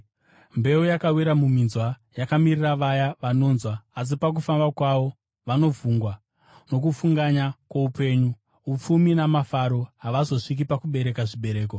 Mbeu yakawira muminzwa yakamirira vaya vanonzwa asi pakufamba kwavo vanovhungwa nokufunganya kwoupenyu, upfumi namafaro, havazosviki pakubereka zvibereko.